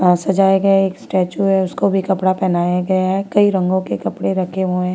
सजाया गया स्टैचू है उसको भी कपड़ा पहनाया गया है कई रंगों के कपड़े रखे हुए।